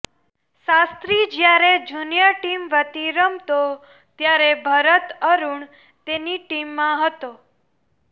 શાસ્ત્રી જ્યારે junior team વતી રમતો ત્યારે ભરત અરુણ તેની ટીમમાં હતો